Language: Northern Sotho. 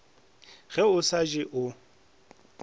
ge o sa je o